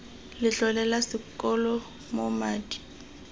letlole la sekolo moo madi